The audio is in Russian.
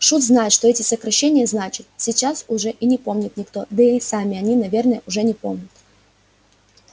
шут знает что эти сокращения значат сейчас уже и не помнит никто да и сами они наверное уже не помнят